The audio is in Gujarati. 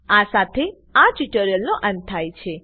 આ સાથે આ ટ્યુટોરીયલનો અંત થાય છે